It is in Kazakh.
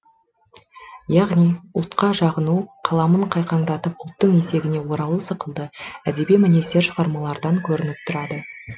яғни ұлтқа жағыну қаламын қайқаңдатып ұлттың етегіне оралу сықылды әдеби мінездер шығармалардан көрініп тұрады